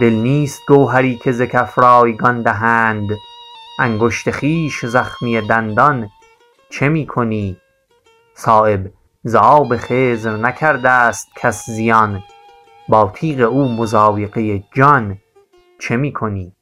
دل نیست گوهری که ز کف رایگان دهند انگشت خویش زخمی دندان چه می کنی صایب ز آب خضر نکرده است کس زیان با تیغ او مضایقه جان چه می کنی